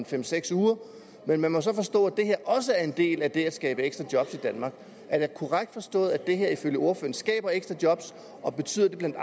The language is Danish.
fem seks uger men man må så forstå at det her også er en del af det at skabe ekstra job i danmark er det korrekt forstået at det her ifølge ordføreren skaber ekstra job og betyder det bla